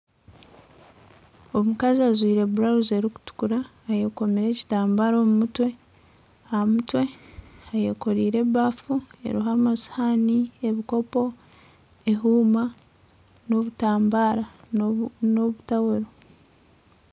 Omukazi ajwire burawuzi erikutukura eyekomire ekitambara omu mutwe , aha mutwe ayekoreire ebafu eriho amasihani, ebikopo , ehuuma n'obutambaara.